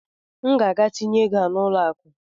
M ga-aga tinye ego a n'ụlọ akụ